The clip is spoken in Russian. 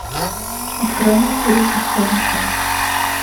открой мне фильм исчезнувшие